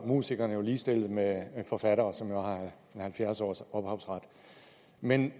musikerne jo ligestillet med forfatterne som har halvfjerds års ophavsret men